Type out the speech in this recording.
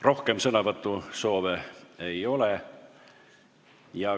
Rohkem sõnavõtusoove ei ole.